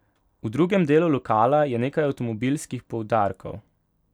V drugem delu lokala je nekaj avtomobilskih poudarkov.